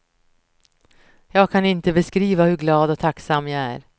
Jag kan inte beskriva hur glad och tacksam jag är.